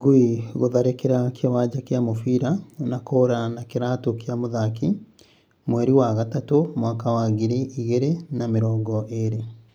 Ngui gutharikira kiwanja kia mubira na kura na kiratu kia muthaki ,mweri wa gatumu mwaka wa ngiri igiri na mirongo iri